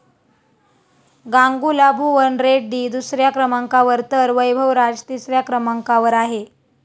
गांगुला भुवन रेड्डी दुसऱ्या क्रमांकावर तर वैभव राज तिसऱ्या क्रमांकावर आहे.